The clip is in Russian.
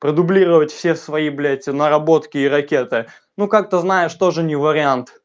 продублировать все свои блять наработки и ракеты ну как-то знаешь тоже не вариант